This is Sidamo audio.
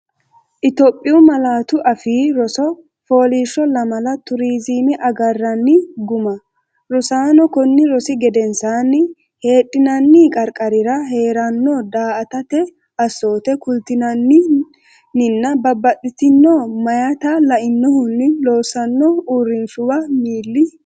Itophiyu Malaatu Afii Roso FOOLIISHSHO LAMALA TURIZIME AGARRANNI GUMMA Rosaano konni rosi gedensaanni: Heedhinanni qarqarira hee’ranno daa”atate assoote kultinanni, ninna babbaxxitino meyaata lainohunni loossanno uurrinshuwa mil?